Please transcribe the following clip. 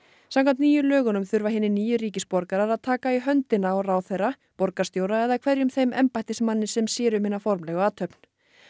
samkvæmt nýjum lögum þurfa hinir nýju ríkisborgarar að taka í höndina á ráðherra borgarstjóra eða hverjum þeim embættismanni sem sér um hina formlegu athöfn